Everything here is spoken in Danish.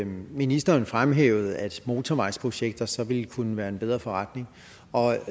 ministeren fremhævede at motorvejsprojekter så ville kunne være en bedre forretning og